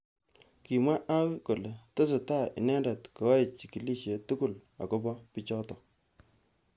Kimwa hawi kole tesetai inendet koei chikilishet tugul. akobo bijotok.